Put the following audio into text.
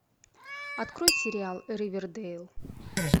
открой сериал ривердейл